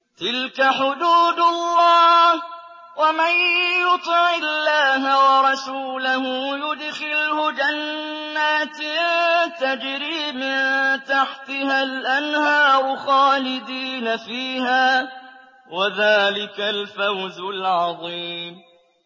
تِلْكَ حُدُودُ اللَّهِ ۚ وَمَن يُطِعِ اللَّهَ وَرَسُولَهُ يُدْخِلْهُ جَنَّاتٍ تَجْرِي مِن تَحْتِهَا الْأَنْهَارُ خَالِدِينَ فِيهَا ۚ وَذَٰلِكَ الْفَوْزُ الْعَظِيمُ